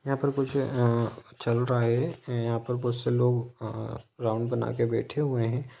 यहाँ पर कुछ आ चल रहा हैं यहाँ पे बहुत से लोग आ राउंड बना के बैठे हुए हैं।